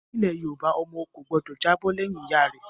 Nílẹ̀ Yorùbá, ọmọ ò gbọ́dọ̀ jábọ̀ lẹ́yìn Ìyá rẹ